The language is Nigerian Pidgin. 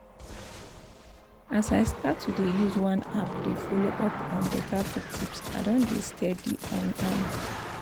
as i start to dey use one app dey follow up on better food tips i don dey steady on am